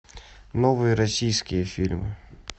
новые российские фильмы